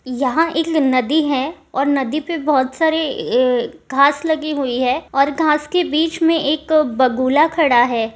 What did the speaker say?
यहां एक नदी है और नदी पे ए बहुत सारे घास लगे हुए हैं और घास के बीच मे एक बगुला खड़ा है।